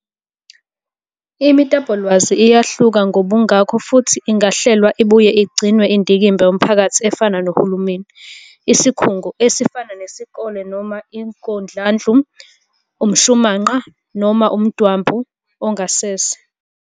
Imitapolwazi iyahluka ngobungako futhi ingahlelwa ibuye igcinwe indikimba yomphakathi efana nohulumeni, isikhungo, esifana nesikole noma ingodlandlu, umshumanqa, noma umdwambu ongasese.